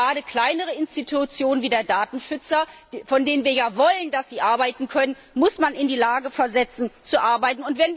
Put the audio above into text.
Gerade kleinere Institutionen wie der Datenschutzbeauftragte, von denen wir ja wollen, dass sie arbeiten können, müssen in der Lage sein, zu arbeiten.